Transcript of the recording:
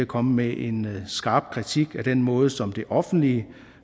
kommet med en skarp kritik af den måde som det offentlige